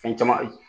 Fɛn caman ye